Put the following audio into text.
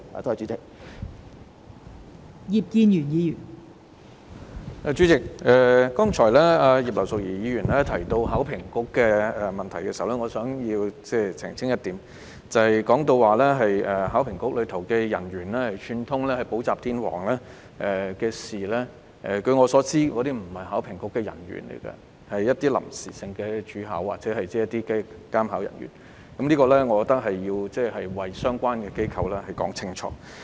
代理主席，葉劉淑儀議員剛才提及考評局的問題，我想澄清一點，她提到考評局人員串通補習天王一事，據我所知，涉案的並非考評局人員，而是臨時主考員或監考員，我認為我要為相關機構說清楚。